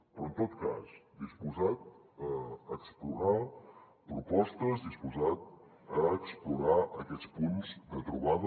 però en tot cas disposat a explorar propostes disposat a explorar aquests punts de trobada